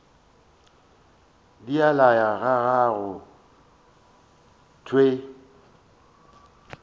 di laya ga go thewe